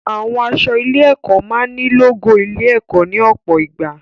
Àwọn aṣọ ilé-ẹ̀kọ́ máa ní lógò ilé-ẹ̀kọ́ ní ọ̀pọ̀ ìgbà.